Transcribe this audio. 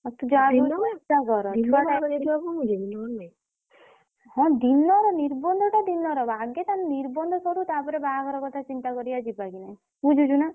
ଆଉ ତୁ ଯାହା ବି ହଉ ଚେଷ୍ଟା କର। ହଁ ଦିନରେ ନିର୍ବନ୍ଧ ଟା ଦିନରେ ହବ। ଆଗେ ତା ନିର୍ବନ୍ଧ ସରୁ ତାପରେ ବାହାଘର କଥା ଚିନ୍ତା କରିଆ ଯିବା କି ନାଇଁ ବୁଝୁଛୁନା?